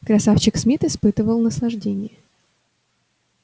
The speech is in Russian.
красавчик смит испытывал наслаждение